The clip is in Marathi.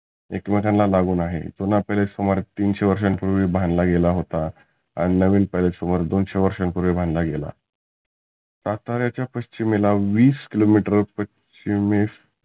एक मेकांना लागुन आहे. जुना palace सुमारे तीनशे वर्षांपुर्वी बांधला गेला होता. आणि नविन palace सुमारे दोनशे वर्षा पुर्वी बांधला गेला, साताऱ्याच्या पश्चिमेला विस किलो मिटर पश्चिमेस